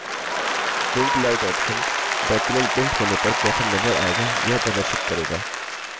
print layout option document print होने पर कैसे नज़र आएगा यह प्रदर्शित करेगा